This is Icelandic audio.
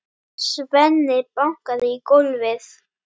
Svenni bankaði í gólfið.